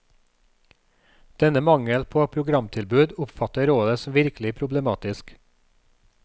Denne mangel på programtilbud oppfatter rådet som virkelig problematisk.